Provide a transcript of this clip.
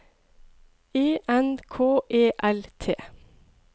E N K E L T